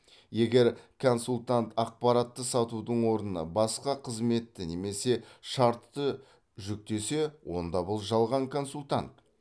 егер консультант ақпаратты сатудың орнына басқа қызметті немесе шартты жүктесе онда бұл жалған консультант